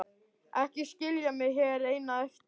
Ekki skilja mig hér eina eftir!